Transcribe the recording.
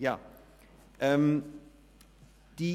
Sprecher des Büros des Grossen Rats.